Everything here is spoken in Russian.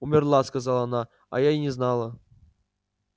умерла сказала она а я и не знала